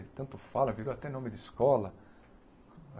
Ele tanto fala, virou até nome de escola.